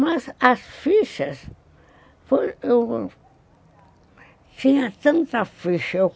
Mas as fichas... Tinha tanta ficha.